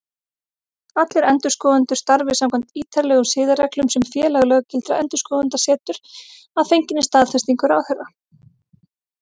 Allir endurskoðendur starfi samkvæmt ítarlegum siðareglum sem Félag löggiltra endurskoðenda setur, að fenginni staðfestingu ráðherra.